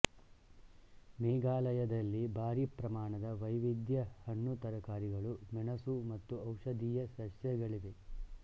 ಮೇಘಾಲಯದಲ್ಲಿ ಭಾರಿ ಪ್ರಮಾಣದ ವೈವಿಧ್ಯದ ಹಣ್ಣುತರಕಾರಿಗಳು ಮೆಣಸು ಮತ್ತು ಔಷಧೀಯ ಸಸ್ಯಗಳಿವೆ